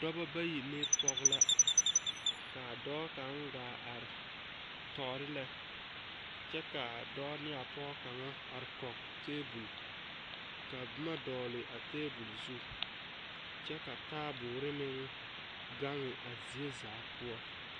Dɔba bayi ne pɔge la kaa dɔɔ kaŋ gaa are tɔɔrelɛ kyɛ kaa dɔɔ ne a pɔge kaŋa ate kɔŋ tabol ka boma dɔgle a tabol zu kyɛ ka taaboɔre meŋ gaŋ a zie zaa poɔ.